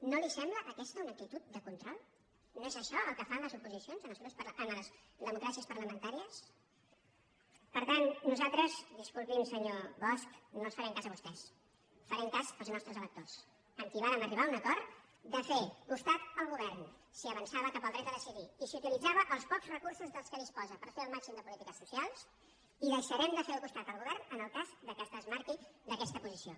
no li sembla aquesta una actitud de control no és això el que fan les oposicions en les democràcies parlamentàries per tant nosaltres disculpi’m senyor bosch no els farem cas a vostès farem cas dels nostres electors amb qui vàrem arribar a un acord de fer costat al govern si avançava cap al dret a decidir i si utilitzava els pocs recursos de què disposa per fer el màxim de polítiques socials i deixarem de fer costat al govern en el cas que es desmarqui d’aquesta posició